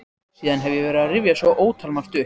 Síðan hef ég verið að rifja svo ótalmargt upp.